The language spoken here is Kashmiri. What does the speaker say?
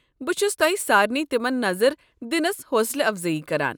بہٕ چھس تۄہہ سارنٕے تمن نظر دِنس حوصلہٕ افضٲیی كران ۔